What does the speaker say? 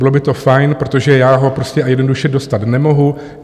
Bylo by to fajn, protože já ho prostě a jednoduše dostat nemohu.